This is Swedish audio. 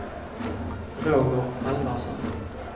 Roger Halvarsson